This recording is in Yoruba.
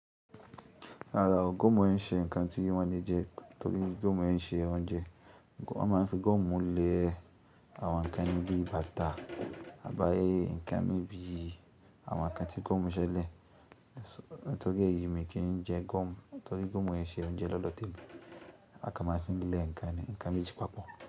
Rárá o, gúmù ń ṣe nǹkan tí wọ́n lè jẹ. Nítorí gúmù ń ṣe oúnjẹ. Wọ́n máa ń fi gúmù lè àwọn ǹkan níbí bàtà, àbáyé ǹkan mi bí i àwọn ǹkan tí gúmù ń ṣe lè. Torí eyi mi kì í jẹ gúmù. Torí gúmù ń ṣe oúnjẹ lọ́dọ̀ témi. A kan máa ń fi lé ǹkan, ǹkan méjì papọ̀